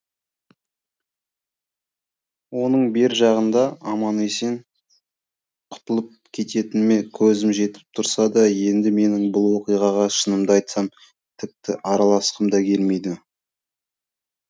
оның бер жағында аман есен құтылып кететініме көзім жетіп тұрса да енді менің бұл оқиғаға шынымды айтсам тіпті араласқым да келмейді